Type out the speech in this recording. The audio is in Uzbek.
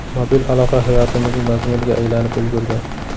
Mobil aloqa hayotimizning mazmuniga aylanib ulgurdi.